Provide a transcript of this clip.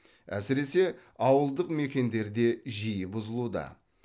әсіресе ауылдық мекендерде жиі бұзылуда